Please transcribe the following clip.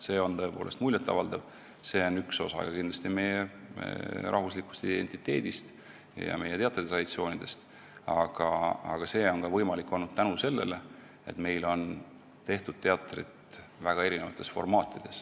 See on kindlasti ka üks osa meie rahvuslikust identiteedist ja meie teatritraditsioonidest, aga see on võimalik olnud tänu sellele, et meil on tehtud teatrit väga erinevates formaatides.